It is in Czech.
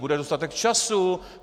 Bude dostatek času!